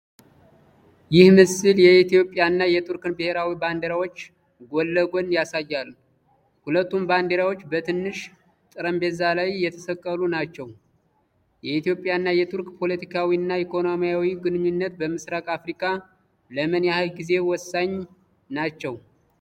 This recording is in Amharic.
ይህ ምስል የኢትዮጵያና የቱርክን ብሔራዊ ባንዲራዎች ጎን ለጎን ያሳያል። ሁለቱም ባንዲራዎች በትንሽ ጠረጴዛ ላይ የተሰቀሉ ናቸው። የኢትዮጵያና የቱርክ ፖለቲካዊና ኢኮኖሚያዊ ግንኙነቶች በምስራቅ አፍሪካ ለምን ያህል ጊዜ ወሳኝ ናቸው?